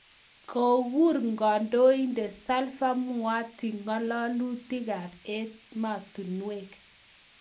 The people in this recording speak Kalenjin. Kokuur kandoinded salva muati ng'alalutik ab emetinwek.